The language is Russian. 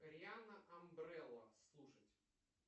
рианна амбрелла слушать